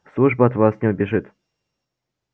служба от вас не убежит